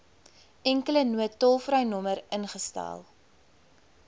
enkele noodtolvrynommer ingestel